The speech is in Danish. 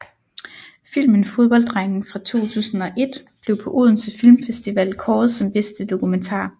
Filmen Fodbolddrengen fra 2001 blev på Odense Filmfestival kåret som bedste dokumentar